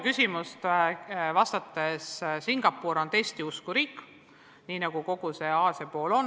Küsimuse teisest poolest alustades: Singapur on testiusku riik, nii nagu kogu see Aasia osa on.